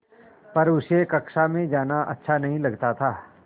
पर उसे कक्षा में जाना अच्छा नहीं लगता था